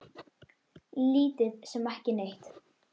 Lítið sem ekki neitt.